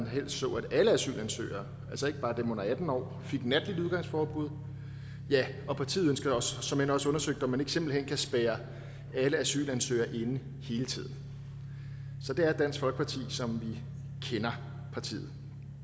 helst så at alle asylansøgere altså ikke bare dem under atten år fik natligt udgangsforbud ja og partiet ønsker såmænd også undersøgt om man ikke simpelt hen kan spærre alle asylansøgere inde hele tiden så det er dansk folkeparti som vi kender partiet